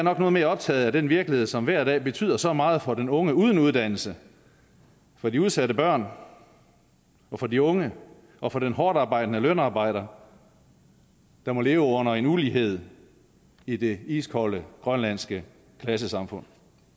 er noget mere optaget af den virkelighed som hver dag betyder så meget for den unge uden uddannelse for de udsatte børn og for de unge og for den hårdtarbejdende lønarbejder der må leve under en ulighed i det iskolde grønlandske klassesamfund